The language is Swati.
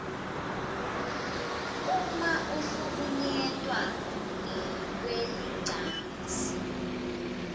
uma uhlukunyetwe ngekwelicansi